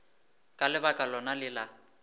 ka lebaka lona le la